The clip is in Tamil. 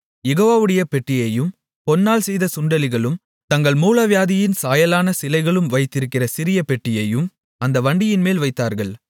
யெகோவாவுடைய பெட்டியையும் பொன்னால் செய்த சுண்டெலிகளும் தங்கள் மூலவியாதியின் சாயலான சிலைகளும் வைத்திருக்கிற சிறிய பெட்டியையும் அந்த வண்டியின்மேல் வைத்தார்கள்